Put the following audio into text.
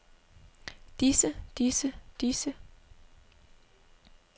disse disse disse